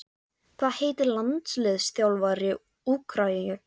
Hvað heitir landsliðsþjálfari Úkraínu?